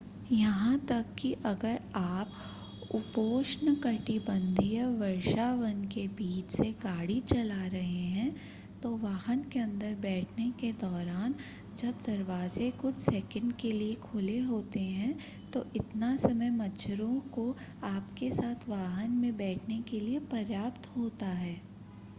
यहां तक कि अगर आप उपोष्णकटिबंधीय वर्षावन के बीच से गाड़ी चला रहे हैं तो वाहन के अंदर बैठने के दौरान जब दरवाजे कुछ सेकंड के लिए खुले होते हैं तो इतना समय मच्छरों को आपके साथ वाहन में बैठने के लिए पर्याप्त होता है